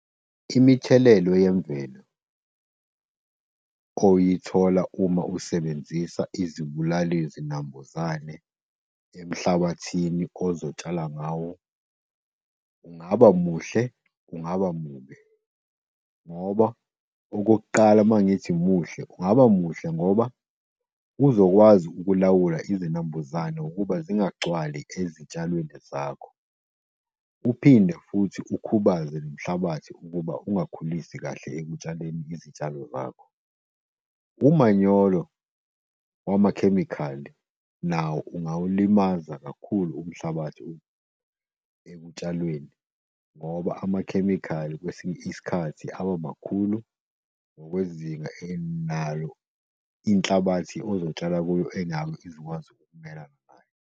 Imithelela yemvelo oyithola uma usebenzisa izibulali zinambuzane emhlabathini ozotshala ngawo kungaba muhle, kungaba mubi, ngoba okokuqala mangithi muhle, kungaba muhle ngoba uzokwazi ukulawula izinambuzane ukuba zingagcwali ezitshalweni zakho. Uphinde futhi ukhubaze nomhlabathi ukuba ungakhulisi kahle ekutshaleni izitshalo zakho. Umanyolo wamakhemikhali, nawo ungawulimaza kakhulu umhlabathi ukuthi ekutshalweni, ngoba amakhemikhali, kwesinye isikhathi aba makhulu ngokwezinga. Nayo inhlabathi ozotshala kuyo ingakwazi ukumelana nayo.